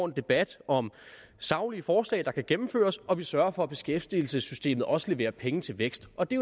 debat om saglige forslag der kan gennemføres og at vi sørger for at beskæftigelsessystemet også leverer penge til vækst og det